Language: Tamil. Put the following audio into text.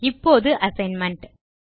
இப்போது அசைன்மென்ட்